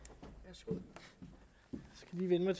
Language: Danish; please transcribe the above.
selv længere